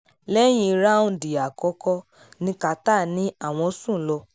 lẹ́yìn ráúńdì àkọ́kọ́ ni carter ní àwọn sùn lọ